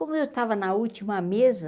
Como eu estava na última mesa,